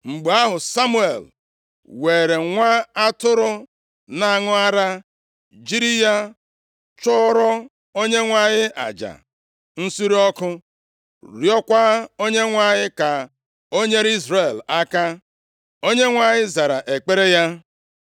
Mgbe ahụ, Samuel weere nwa atụrụ na-aṅụ ara jiri ya chụọrọ Onyenwe anyị aja nsure ọkụ, rịọkwa Onyenwe anyị ka o nyere Izrel aka. Onyenwe anyị zara ekpere ya.